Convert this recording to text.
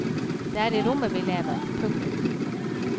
Det er i rommet vi lever. punktum